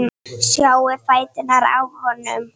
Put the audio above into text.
Sjáiði fæturna á honum.